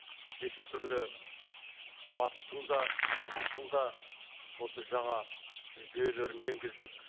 неше түрлі батыстың да шығыстың да осы жаңа жүйелерін енгіздік